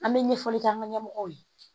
An bɛ ɲɛfɔli k'an ka ɲɛmɔgɔw ye